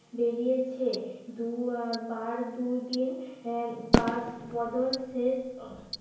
বেরিয়েছে দু বার দুদিন বাস বদল শেষ